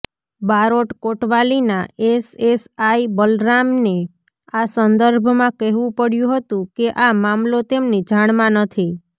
બારોટ કોટવાલીના એસએસઆઈ બલરામને આ સંદર્ભમાં કહેવું પડ્યું હતું કે આ મામલો તેમની જાણમાં નથી